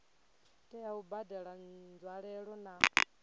tea u badela nzwalelo na